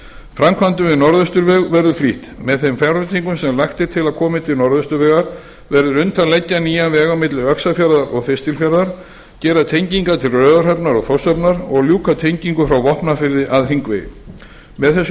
framkvæmdum við norðausturveg verður flýtt með þeim fjárveitingum sem lagt er til að komi til norðausturvegar verður unnt að leggja nýjan veg á milli öxarfjarðar og þistilfjarðar gera tengingar til raufarhafnar og þórshafnar og ljúka tengingu frá vopnafirði að h hringvegi með þessum